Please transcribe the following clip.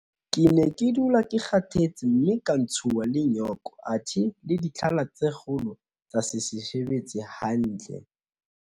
Ke ne ke dula ke kgathetse mme ka ntshuwa le nyoko athe le ditlhala tsa kgolo tsa se sebetse hantle.